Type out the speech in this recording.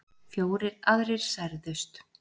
Fjórir aðrir særðust